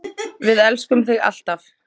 Við elskum þig alltaf.